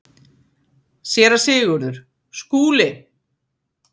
SÉRA SIGURÐUR: Skúli!